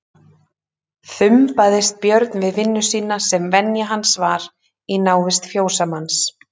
Þumbaðist Björn við vinnu sína sem venja hans var í návist fjósamanns.